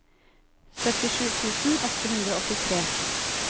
syttisju tusen åtte hundre og åttitre